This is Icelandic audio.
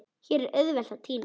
Hér er auðvelt að týnast.